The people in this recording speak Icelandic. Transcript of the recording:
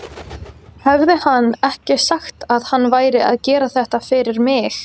Hafði hann ekki sagt að hann væri að gera þetta fyrir mig?